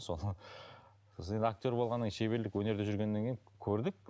содан сосын енді актер болғаннан кейін шеберлік өнерде жүргеннен кейін көрдік